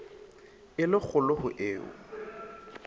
e le kgolo ho eo